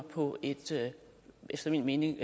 på et efter min mening